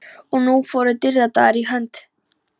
Og nú fóru dýrðardagar í hönd.